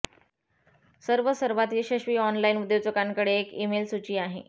सर्व सर्वात यशस्वी ऑनलाईन उद्योजकांकडे एक ईमेल सूची आहे